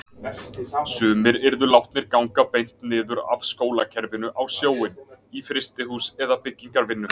Sumir yrðu látnir ganga beint niður af skólakerfinu á sjóinn, í frystihús eða byggingarvinnu.